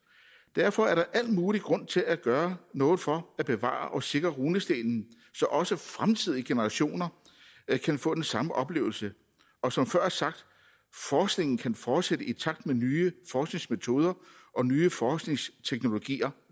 derfor er der al mulig grund til at gøre noget for at bevare og sikre runestenen så også fremtidige generationer kan få den samme oplevelse og som før sagt forskningen kan fortsætte i takt med at nye forskningsmetoder og nye forskningsteknologier